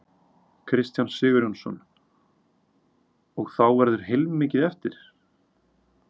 Kristján Sigurjónsson: Og þá verður heilmikið eftir?